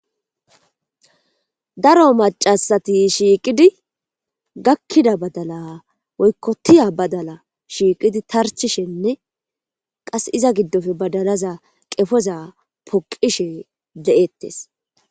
Daro macasati shiiqidi gakkida badala woykkotiya badala shiiqidi tarchishenne qas iza giddofe badalaza qefoza poqishe de7ettes.